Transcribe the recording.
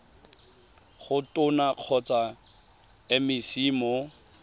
go tona kgotsa mec mo